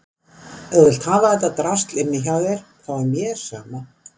Ef þú vilt hafa þetta drasl inni hjá þér þá er mér sama.